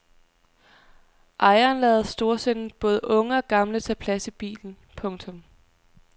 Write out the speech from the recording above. Ejeren lader storsindet både unge og gamle tage plads i bilen. punktum